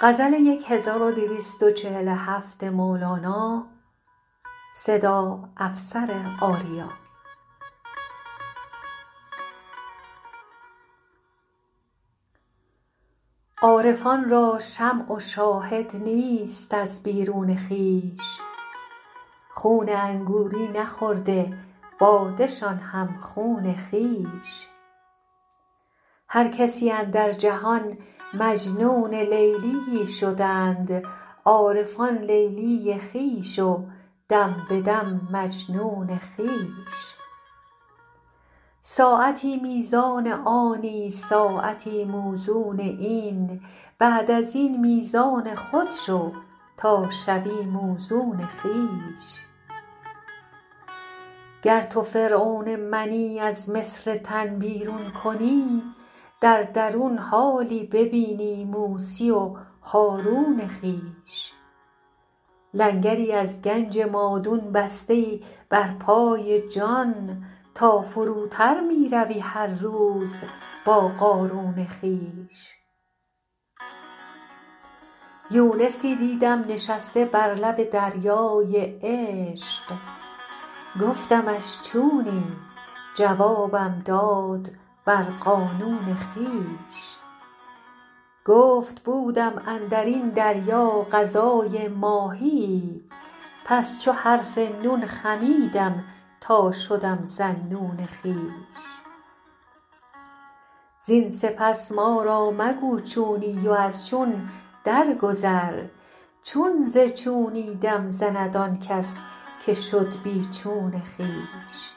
عارفان را شمع و شاهد نیست از بیرون خویش خون انگوری نخورده باده شان هم خون خویش هر کسی اندر جهان مجنون لیلیی شدند عارفان لیلی خویش و دم به دم مجنون خویش ساعتی میزان آنی ساعتی موزون این بعد از این میزان خود شو تا شوی موزون خویش گر تو فرعون منی از مصر تن بیرون کنی در درون حالی ببینی موسی و هارون خویش لنگری از گنج مادون بسته ای بر پای جان تا فروتر می روی هر روز با قارون خویش یونسی دیدم نشسته بر لب دریای عشق گفتمش چونی جوابم داد بر قانون خویش گفت بودم اندر این دریا غذای ماهیی پس چو حرف نون خمیدم تا شدم ذاالنون خویش زین سپس ما را مگو چونی و از چون درگذر چون ز چونی دم زند آن کس که شد بی چون خویش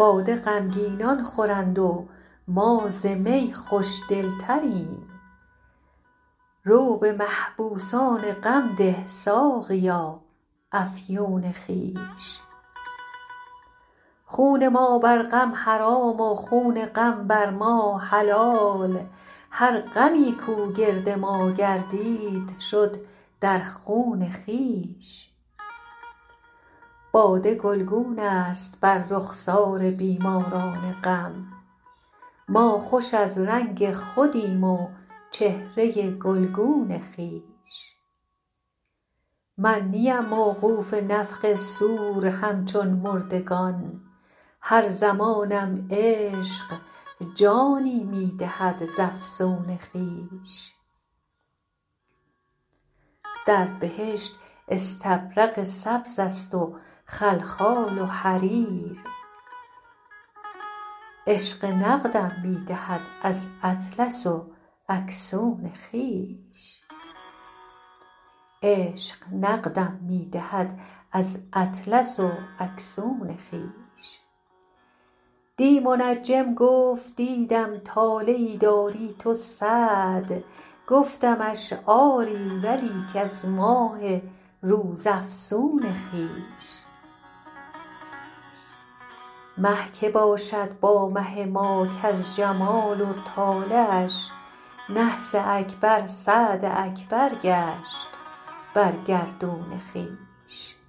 باده غمگینان خورند و ما ز می خوش دلتریم رو به محبوسان غم ده ساقیا افیون خویش خون ما بر غم حرام و خون غم بر ما حلال هر غمی کو گرد ما گردید شد در خون خویش باده گلگونه ست بر رخسار بیماران غم ما خوش از رنگ خودیم و چهره گلگون خویش من نیم موقوف نفخ صور همچون مردگان هر زمانم عشق جانی می دهد ز افسون خویش در بهشت استبرق سبزست و خلخال و حریر عشق نقدم می دهد از اطلس و اکسون خویش دی منجم گفت دیدم طالعی داری تو سعد گفتمش آری ولیک از ماه روزافزون خویش مه که باشد با مه ما کز جمال و طالعش نحس اکبر سعد اکبر گشت بر گردون خویش